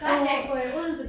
Godt jeg ikke bor i Odense